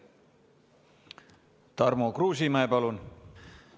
Tarmo Kruusimäe, palun!